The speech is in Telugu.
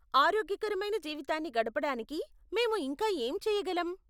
ఆరోగ్యకరమైన జీవితాన్ని గడపడానికి మేము ఇంకా ఏం చేయగలం?